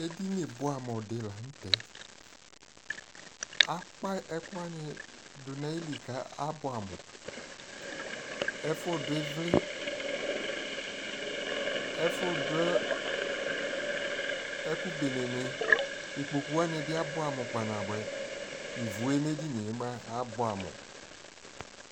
ɛdini bʋamʋ di lantɛ, akpa ɛkʋ wanidʋnʋ ayili kʋ abʋamʋ, ɛƒʋ dʋ ivli, ɛƒʋ dʋ ɛkʋ bɛnɛ ni, ikpɔkʋ wani bi abʋamʋ kpa na bʋɛ, ivʋɛ nʋ ɛdiniɛ abʋɛ amʋ